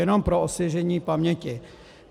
Jenom pro osvěžení paměti.